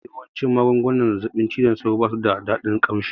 Mafi yawan magungunan zazzaɓin cizon sauro basu da dadin ƙamshi